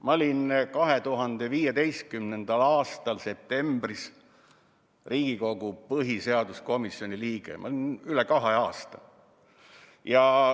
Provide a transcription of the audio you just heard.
Ma olin 2015. aasta septembris Riigikogu põhiseaduskomisjoni liige, ma olin seda üle kahe aasta.